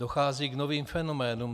Dochází k novým fenoménům.